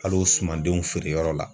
Al'o sumandenw feere yɔrɔ la